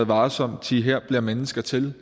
varsomt thi her bliver mennesker til